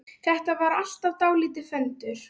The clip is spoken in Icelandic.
Þetta var alltaf dálítið föndur.